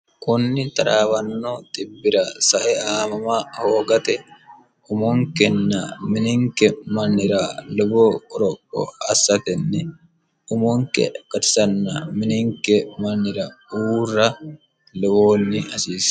kunni taraawanno xibbira sae aamama hoogate umunkenna mininke mannira luboo oroqqo assatenni umunke gatisanna mininke mannira uurra luwoonni hasiie